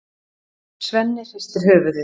Svenni hristir höfuðið.